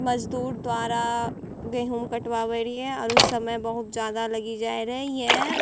मजदुर द्वारा गेहूं कटवावै रियै आरू समय बहुत ज्यादा लगी जाय रहे यें --